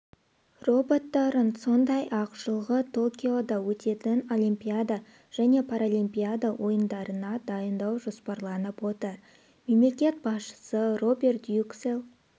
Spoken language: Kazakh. роботтарын сондай-ақ жылғы токиода өтетін олимпиада және паралимпиада ойындарына дайындау жоспарланып отыр мемлекет басшысы роберт юксел